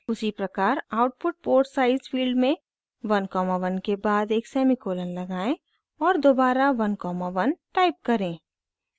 उसी प्रकार output port size field में 1 कॉमा 1 के बाद एक सेमीकोलन लगाएं और दोबारा 1 कॉमा 1 टाइप करें